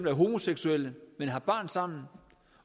er homoseksuelle men har barn sammen